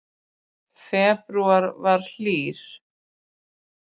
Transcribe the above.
Febrúar var hlýr